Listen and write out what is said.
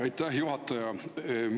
Aitäh, juhataja!